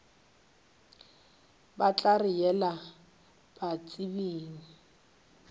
ba tla re yela batsebing